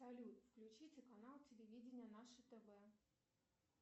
салют включите канал телевидения наше тв